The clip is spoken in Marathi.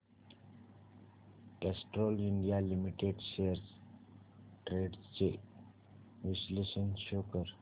Castrol India Limited shares trends चे विश्लेषण शो कर